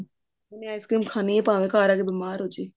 ਉਹਨੇ ice cream ਖਾਣੀ ਹੈ ਭਾਵੇਂ ਘਰ ਆ ਕੇ ਬੀਮਾਰ ਹੋਜੇ